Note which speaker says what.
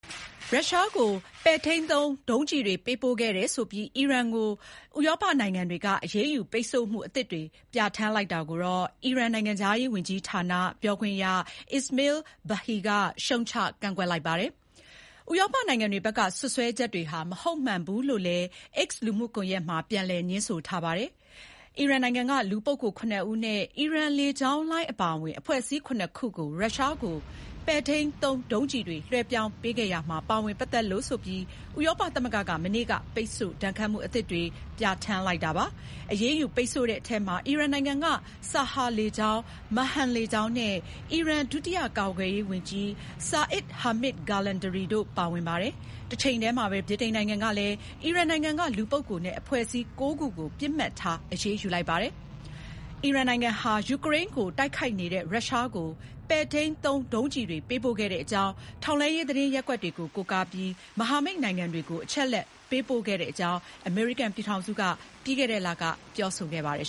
Speaker 1: ရုရှားကို ပဲ့ထိန်းသုံး ဒုံးကျည်တွေ ပေးပို့ခဲ့တယ်ဆိုပြီး အီရန်အပေါ် ဥရောပနိုင်ငံတွေက အရေးယူ ပိတ်ဆို့မှု အသစ်တွေ ပြဋ္ဌာန်းလိုက်တာကို အီရန် နိုင်ငံခြားရေးဝန်ကြီးဌာနက ပြောခွင့်က Esmaeil Baghaei က ရှုတ်ချ ကန့်ကွက်လိုက်ပါတယ်။ ဥရောပနိုင်ငံတွေဘက်က စွပ်စွဲချက်ဟာ မဟုတ်မမှန်ဘူးလို့လည်း X လူမှုကွန်ယက်မှာ ပြန်လည် ငြင်းဆိုထားပါတယ်။ အီရန်နိုင်ငံက လူပုဂ္ဂိုလ် ၇ ဦးနဲ့ Iran လေကြောင်းလိုင်းအပါဝင် အဖွဲ့အစည်း ၇ ခုကို ရုရှားကို ပဲ့ထိန်းသုံး ဒုံးကျည်တွေ လွှဲပြောင်းပေးခဲ့ရာမှာ ပါဝင်ပတ်သက်လို့ဆိုပြီး ဥရောပသမဂ္ဂက မနေ့က ပိတ်ဆို့ ဒဏ်ခတ်မှု အသစ်တွေ ပြဋ္ဌာန်းလိုက်တာပါ။ အရေးယူပိတ်ဆို့တဲ့အထဲမှာ အီရန်နိုင်ငံက Saha လေကြောင်း၊ Mahan လေကြောင်းနဲ့ အီရန် ဒုတိယကာကွယ်ရေးဝန်ကြီး Seyed Hamzeh Ghalandari တို့ ပါဝင်ပါတယ်။ တချိန်တည်းမှာပဲ ဗြိတိန်နိုင်ငံကလည်း အီရန်နိုင်ငံက လူပုဂ္ဂိုလ်နဲ့ အဖွဲ့အစည်း ၉ ခုကို ပစ်မှတ်ထား အရေးယူလိုက်ပါတယ်။ အီရန်နိုင်ငံဟာ ယူကရိန်းကို တိုက်ခိုက်နေတဲ့ ရုရှားကို ပဲ့ထိန်းသုံး ဒုံးကျည်တွေ ပေးပို့ခဲ့တဲ့အကြောင်း ထောက်လှမ်းရေးသတင်းရပ်ကွက်တွေကို ကိုးကားပြီး မဟာမိတ်နိုင်ငံတွေကို အချက်အလက်တွေပေးပို့ခဲ့တဲ့အကြောင်း အမေရိကန်ပြည်ထောင်စုက ပြီးခဲ့တဲ့လက ပြောဆိုခဲ့ပါတယ်